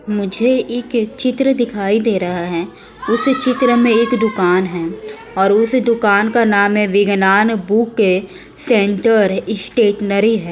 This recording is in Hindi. मुझे एक चित्र दिखाई दे रहा है। उस चित्र में एक दुकान है और इस दुकान का नाम विगनान बुक सेंटर स्टेशनरी है।